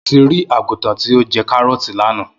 Mo ti ri àgùtàn ti o jẹ karọọti lana.